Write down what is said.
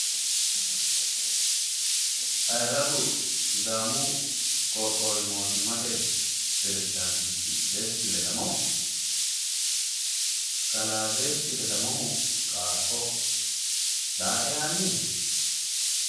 Ayirradu sidaamu qoqqowi mootimmate peresidaantichi desti ledamoho? kalaa desti ledamohu qaaqqo daae yaanni no?